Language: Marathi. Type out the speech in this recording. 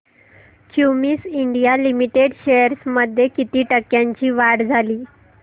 क्युमिंस इंडिया लिमिटेड शेअर्स मध्ये किती टक्क्यांची वाढ झाली